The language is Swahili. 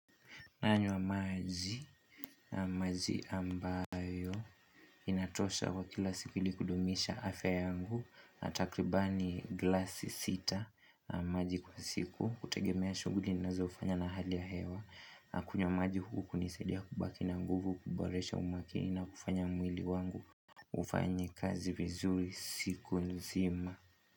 Nanywa maji. Maji ambayo inatosha kwa kila siku ili kudumisha afya yangu, takribani glasi sita. Maji kwa siku, hutegemea shughuli ninazo fanya na hali ya hewa, kunywa maji hunisaidia kubaki na nguvu, kuboresha umakini na kufanya mwili wangu ufanye kazi vizuri siku nzima.